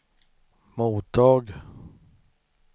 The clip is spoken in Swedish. mottag